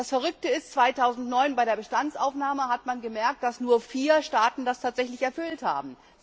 Das Verrückte ist 2009 bei der Bestandsaufnahme hat man gemerkt, dass nur vier Staaten das tatsächlich erfüllt haben.